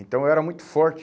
Então eu era muito forte.